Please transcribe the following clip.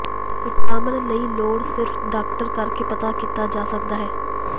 vitamin ਲਈ ਲੋੜ ਸਿਰਫ ਡਾਕਟਰ ਕਰਕੇ ਪਤਾ ਕੀਤਾ ਜਾ ਸਕਦਾ ਹੈ